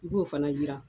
I b'o fana jiran